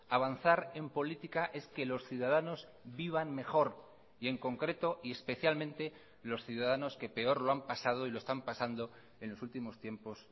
avanzar en política es que los ciudadanos vivan mejor y en concreto y especialmente los ciudadanos que peor lo han pasado y lo están pasando en los últimos tiempos